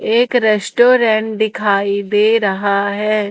एक रेस्टोरेंट दिखाई दे रहा है।